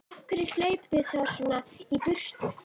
Af hverju hlaupið þið þá svona í burtu?